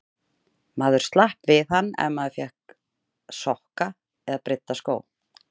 Maður slapp við hann ef maður fékk sokka eða brydda skó.